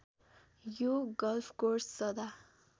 यो गल्फकोर्स सदा